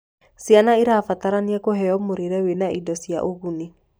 Ciana irabatarania kuheo mũrĩre wĩna indo cia ũguni